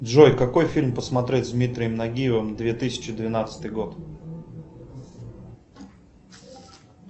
джой какой фильм посмотреть с дмитрием нагиевым две тысячи двенадцатый год